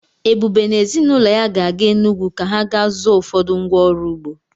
Ebube na ezi na ụlọ ya ga-aga Enugwu ka ha ga zụọ ụfọdụ ngwa ọrụ ugbo.